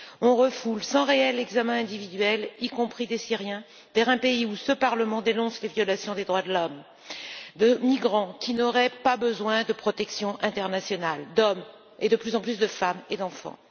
On refoule sans réel examen individuel, y compris des Syriens, vers un pays où ce Parlement dénonce les violations des droits de l'homme, des migrants qui n'auraient pas besoin de protection internationale, des hommes et de plus en plus de femmes et d'enfants.